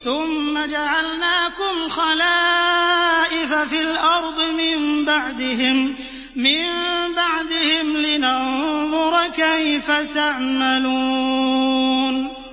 ثُمَّ جَعَلْنَاكُمْ خَلَائِفَ فِي الْأَرْضِ مِن بَعْدِهِمْ لِنَنظُرَ كَيْفَ تَعْمَلُونَ